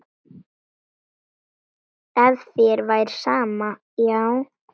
Ef þér væri sama, já.